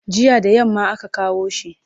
Jiya da yamma aka kawo shi.